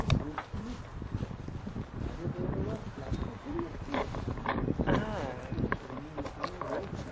Group নিয়ে বাইরে বেরোনোর plan টা করি একটু? হ্যাঁ হোক।